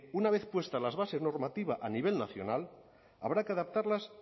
una vez puestas las bases normativas a nivel nacional habrá que adaptarlas